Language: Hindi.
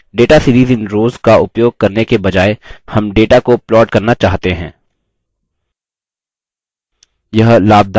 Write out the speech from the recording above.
हम तरीका बदल सकते हैं data series in rows का उपयोग करने के बजाय हम data को plot करना चाहते हैं